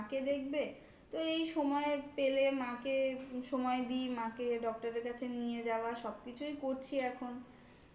দেখবে এই সময় পেলে মাকে সময় দিই মাকে doctor এর কাছে নিয়ে যাওয়া সব কিছুই করছি এখন